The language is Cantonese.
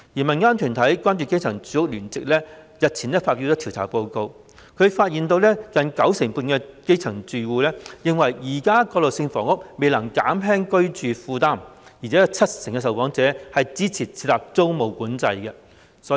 民間團體關注基層住屋聯席日前發表調查報告，發現近九成半基層住戶認為現時的過渡性房屋未能減輕居住負擔，而且有七成受訪者支持設立租務管制。